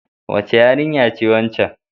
Wace yarinya ce waccan?